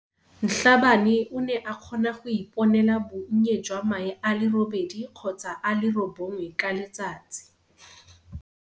Mhlabane o ne a kgona go iponela bonnye jwa mae a le robedi kgotsa a le robongwe ka letsatsi.